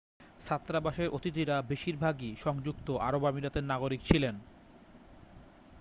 ছাত্রাবাসের অতিথিরা বেশিরভাগই সংযুক্ত আরব আমিরাতের নাগরিক ছিলেন